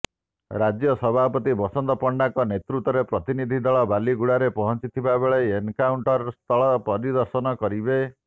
ରାଜ୍ୟ ସଭାପତି ବସନ୍ତ ପଣ୍ଡାଙ୍କ ନେତୃତ୍ୱରେ ପ୍ରତିନିଧି ଦଳ ବାଲିଗୁଡାରେ ପହଂଚିଥିବାବେଳେ ଏନକାଉଂଟରସ୍ଥଳ ପରିଦର୍ଶନ କରିବେ